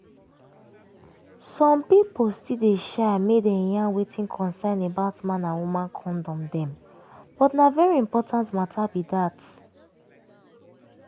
some people still dey shy make dem yarn wetin concern about man and woman condom dem but na very important matter be dat